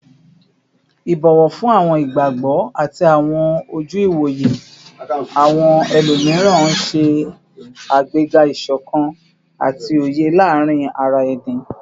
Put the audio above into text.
Ibọwọ fun awọn igbagbọ ati awọn oju-iwoye awọn ẹlomiran n ṣe agbega isokan ati oye laarin ara ẹni